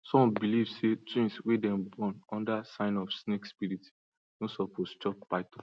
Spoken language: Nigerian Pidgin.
some believe say twins wey them born under sign of snake spirit no suppose chop python